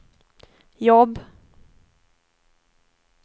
jobb